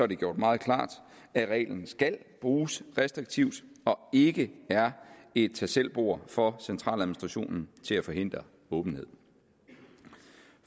det gjort meget klart at reglen skal bruges restriktivt og ikke er et tag selv bord for centraladministrationen til at forhindre åbenhed